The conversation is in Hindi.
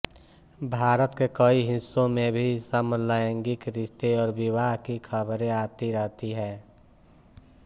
भारत के कई हिस्सों में भी समलैंगिक रिश्ते और विवाह की खबरें आती रहती हैं